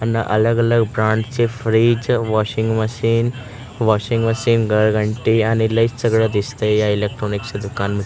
अलग-अलग ब्रांच चे fridge washing machine washing machine घरघंटी आणि लईच सगळं दिसतंय या इलेक्ट्रॉनिक्स दुकानमध्ये.